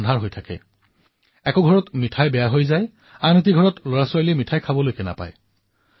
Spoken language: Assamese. আমাৰ মাজৰ এনে বহু কন্যা সন্তান আছে যিয়ে বহু পৰিশ্ৰমেৰে নিজৰ প্ৰতিভাৰে পৰিয়ালৰ সমাজৰ আৰু দেশৰ নাম উজ্বলাবলৈ সমৰ্থ হৈছে